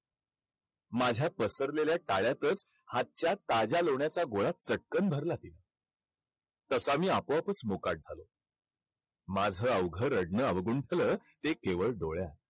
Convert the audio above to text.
माझ्या टाळ्यातच हातच्या ताज्या लोण्याचा गोळा चटकन भरला तिने. तसा मी आपोआपच मोकाट झालो. माझं अवघं रडणं अवगुंथलं ते केवळ डोळ्यात.